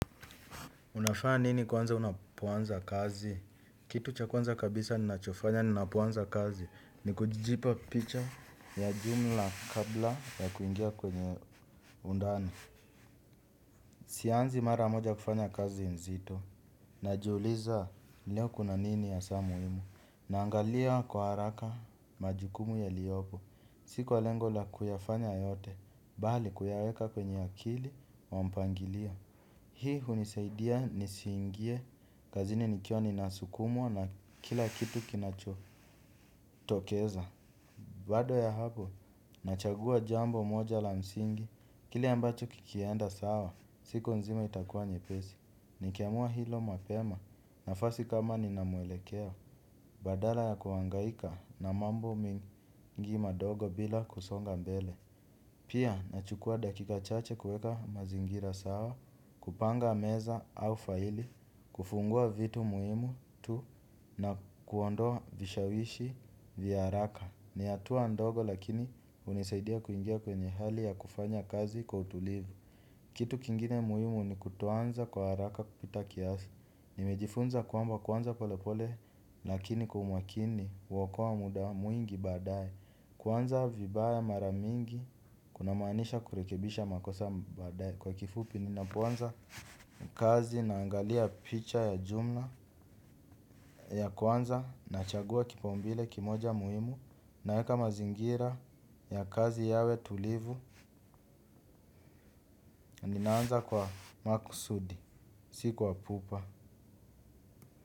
Unafaa nini kwanza unapoanza kazi? Kitu cha kwanza kabisa ninachofanya ninapoanza kazi ni kujipa picha ya jumla kabla ya kuingia kwenye undani. Sianzi mara moja kufanya kazi nzito. Najiuliza leo kuna nini hasaa muhimu. Naangalia kwa haraka majukumu yaliopo. Sikwa lengo la kuyafanya yote. Bali kuyaweka kwenye akili wa mpangilio. Hii hunisaidia nisiingie kazini nikiwa ninasukumwa na kila kitu kinachotokeza. Baada ya hapo, nachagua jambo moja la msingi. Kile ambacho kikienda sawa, siku nzima itakuwa nyepesi. Nikiamua hilo mapema nafasi kama ninamwelekeo. Badala ya kuhangaika na mambo mengi madogo bila kusonga mbele. Pia, nachukua dakika chache kueka mazingira sawa, kupanga meza au faili, kufungua vitu muhimu tu na kuondoa vishawishi vya haraka. Ni hatuwa ndogo lakini hunisaidia kuingia kwenye hali ya kufanya kazi kwa utulivu. Kitu kingine muhimu ni kutoanza kwa haraka kupita kiasi. Nimejifunza kwamba kuanza pole pole lakini kwa umakini huokoa muda mwingi baadaye. Kuanza vibaya mara mingi kuna maanisha kurekebisha makosa baadae kwa kifupi ninapoanza kazi na angalia picha ya jumla ya kwanza nachagua kipaumbele kimoja muhimu naeka mazingira ya kazi yawe tulivu ninaanza kwa makusudi siku wa pupa.